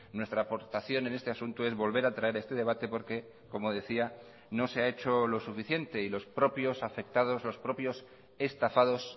nuestra aportación en este asunto es volver a traer este debate porque como decía no se ha hecho lo suficiente y los propios afectados los propios estafados